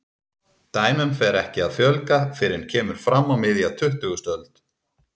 Dæmum fer ekki að fjölga fyrr en kemur fram á miðja tuttugustu öld.